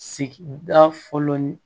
Sigida fɔlɔ ni